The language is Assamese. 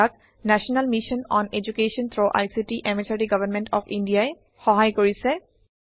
ইয়াক national mission on education through ICT MHRD government of India ই সহায় কৰিছে